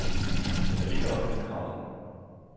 Men vi har ikke opgivet kravet.